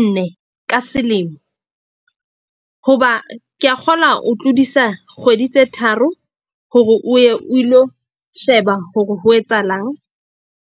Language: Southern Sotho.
nne ka selemo. Hoba ke a kgolwa o tlodisa kgwedi tse tharo hore o ye o ilo sheba hore ho etsahalang.